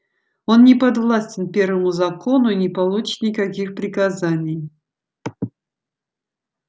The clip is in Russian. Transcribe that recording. он не подвластен первому закону и не получит никаких приказаний